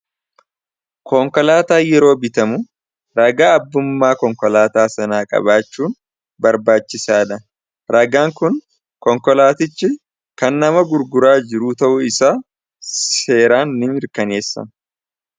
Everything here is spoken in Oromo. Konkolaataa yeroo bitamu ragaa abbummaa konkolaataa sanaa qabaachuun barbaachisaadha. Ragaan kun konkolaatichi kannama gurguraa jiruu ta'uu isaa seeraan ni mirkaneessa.